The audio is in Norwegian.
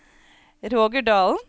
Roger Dalen